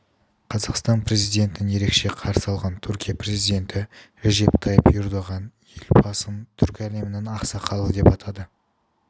қазақстан президентін ерекше қарсы алған түркия президенті режеп тайип ердоған елбасын түркі әлемінің ақсақалы деп атады